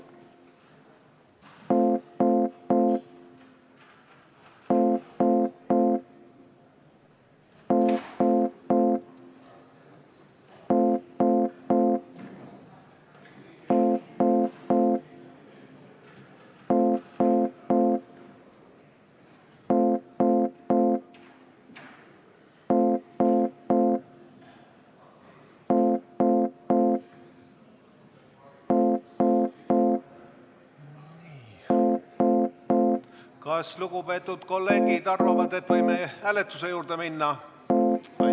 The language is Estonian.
Kas lugupeetud kolleegid arvavad, et võime hääletuse juurde minna?